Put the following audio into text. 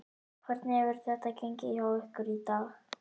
Hvernig hefur þetta gengið hjá ykkur í dag?